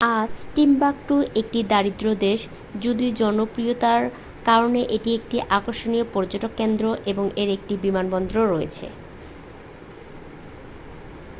আজ টিম্বাকটু একটি দরিদ্র দেশ যদিও জনপ্রিয়তার কারণে এটি একটি আকর্ষণীয় পর্যটন কেন্দ্র এবং এর একটি বিমানবন্দরও রয়েছে